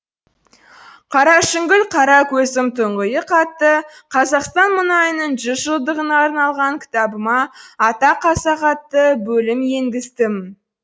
қарашүңгіл қара көзім тұңғиық атты қазақстан мұнайының жүз жылдығына арналған кітабыма ата қазақ атты бөлім енгіздім